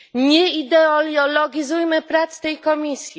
Nie ideologizujmy prac tej komisji.